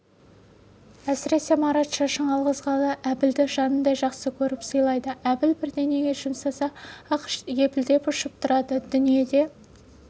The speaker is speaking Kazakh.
әсіресе марат шашын алғызғалы әбілді жанындай жақсы көріп сыйлайды әбіл бірдеңеге жұмсаса-ақ елпілдеп ұшып тұрады дүниеде